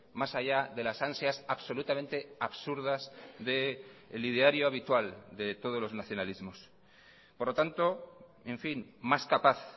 más allá de las ansias absolutamente absurdas del ideario habitual de todos los nacionalismos por lo tanto en fin más capaz